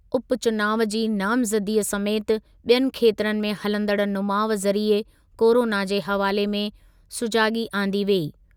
उपचुनाव जी नामज़ददीअ समेति ॿियनि खेत्रनि में हलंदड़ु नुमाउ ज़रिए कोरोना जे हवाले में सुॼागी आंदी वेई।